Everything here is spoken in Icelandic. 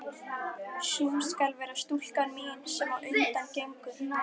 Sú skal vera stúlkan mín, sem á undan gengur.